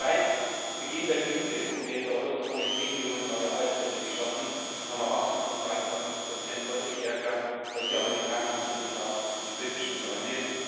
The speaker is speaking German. Seit Beginn der Krise haben wir in der Euro Zone zehn Millionen neue Arbeitsplätze geschaffen und haben ein Wachstum von 2,5 deutlich stärker als die Amerikaner und übrigens auch die britischen Freunde.